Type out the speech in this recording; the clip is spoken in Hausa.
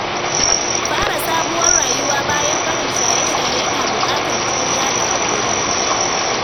Fara sabuwar rayuwa bayan barin shaye-shaye yana buƙatar juriya da haƙuri.